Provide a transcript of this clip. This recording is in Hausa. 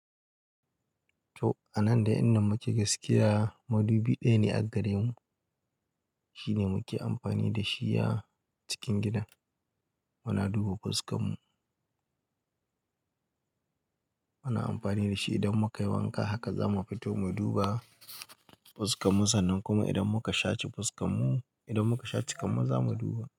To, a nan dai inda muke gaskiya madubi ɗaya ne gare mu. Shi ne muke amfani da shi a cikin gidan. Muna duba fuskar mu. Muna amfani da shi idan muka yi wanka, haka za mu fito mu duba fuskarmu sannan kuma idan muka sha ci fuskar mu, idan muka sha ci kuma za mu duba.